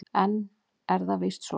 En það er víst svo.